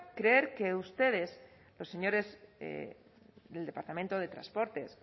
creer que ustedes los señores del departamento de transportes